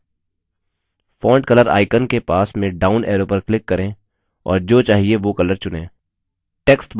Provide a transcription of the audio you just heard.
font color icon के पास में डाउन arrow पर click करें और जो चाहिए वो color चुनें